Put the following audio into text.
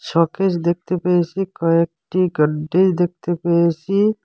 Showcase দেখতে পেয়েসি কয়েকটি গডডেজ দেখতে পেয়েসি।